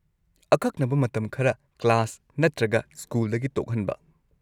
ꯑꯀꯛꯅꯕ ꯃꯇꯝ ꯈꯔ ꯀ꯭ꯂꯥꯁ ꯅꯠꯇ꯭ꯔꯒ ꯁ꯭ꯀꯨꯜꯗꯒꯤ ꯇꯣꯛꯍꯟꯕ꯫